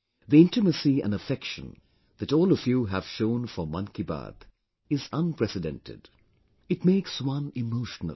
The intimacy and affection that all of you have shown for 'Mann Ki Baat' is unprecedented, it makes one emotional